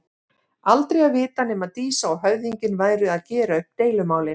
Aldrei að vita nema Dísa og höfðinginn væru að gera upp deilumálin.